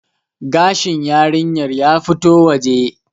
gashin yarinyar ya fito waje